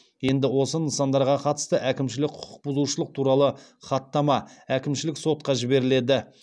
енді осы нысандарға қатысты әкімшілік құқық бұзушылық туралы хаттама әкімшілік сотқа жіберіледі